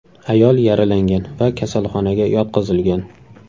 Ayol yaralangan va kasalxonaga yotqizilgan.